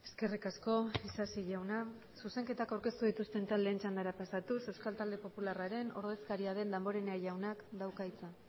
eskerrik asko isasi jauna zuzenketak aurkeztu dituzten taldeen txandara pasatuz euskal talde popularraren ordezkaria den damborenea jaunak dauka hitza